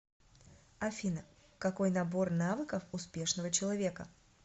афина какой набор навыков успешного человека